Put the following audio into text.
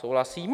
Souhlasím.